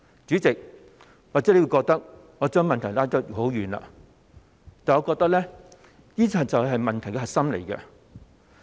主席，或許你會覺得我將話題扯到很遠，但我認為這就是問題的核心。